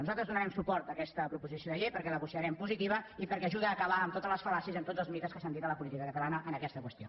nosaltres donarem suport a aquesta proposició de llei perquè la considerem positiva i perquè ajuda a acabar amb totes les fal·làcies i amb tots els mites que s’han dit de la política catalana en aquesta qüestió